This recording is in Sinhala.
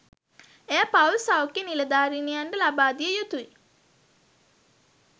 එය පවුල් සෞඛ්‍ය නිලධාරිනියන්ට ලබා දිය යුතුයි